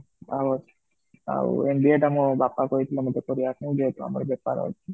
ଆଉ ଆଉ MBA ଟା ମୋ ବାପା କହି ଥିଲେ ମତେ କରିବାକୁ ଯେହେତୁ ଆମର ବେପାର ଅଛି